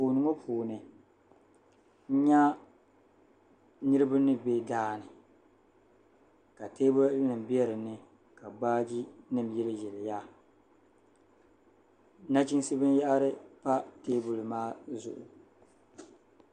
Anfooni ŋɔ puuni nyɛ niriba ni bɛ daani ka tɛɛbuli nim bɛ dinni ka baaji nima yilli yiliya machinsi bini yahari pa tɛɛbuli maa zuɣu.